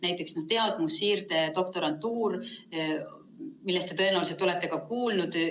Näiteks, teadmussiirde doktorantuur, millest te tõenäoliselt olete ka kuulnud.